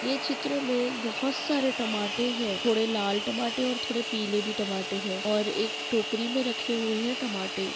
ये चित्र में बहोत सारे टमाटे है थोड़े लाल टमाटे और थोड़े पीले भी टमाटे है और एक टोकरी मे रखे हुए है टमाटे।